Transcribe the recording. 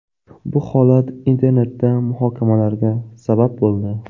Bu holat internetda muhokamalarga sabab bo‘ldi.